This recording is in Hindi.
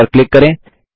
इस पर क्लिक करें